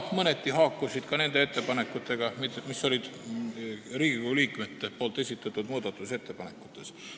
Mõneti haakusid need ka Riigikogu liikmete esitatud muudatusettepanekutega.